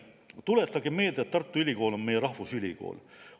Tuletagem meelde, et Tartu Ülikool on meie rahvusülikool.